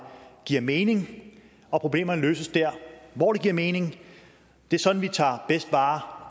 giver mening og at problemerne løses der hvor det giver mening det er sådan vi tager bedst vare